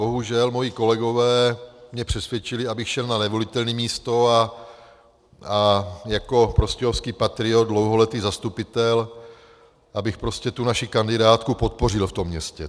Bohužel moji kolegové mě přesvědčili, abych šel na nevolitelné místo a jako prostějovský patriot, dlouholetý zastupitel, abych prostě tu naši kandidátku podpořil v tom městě.